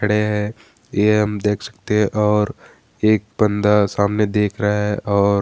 खड़े है यह हम देख सकते है और एक बंदा सामने देख रहे है और --